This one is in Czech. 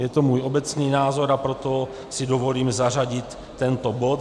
Je to můj obecný názor, a proto si dovolím zařadit tento bod.